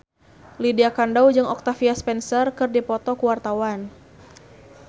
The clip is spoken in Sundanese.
Lydia Kandou jeung Octavia Spencer keur dipoto ku wartawan